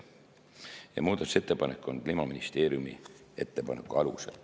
Ja muudatusettepanek on Kliimaministeeriumi ettepaneku alusel.